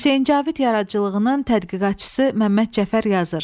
Hüseyn Cavid yaradıcılığının tədqiqatçısı Məmməd Cəfər yazır: